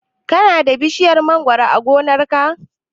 Ka na da bishiyar mangoro a gonar ka?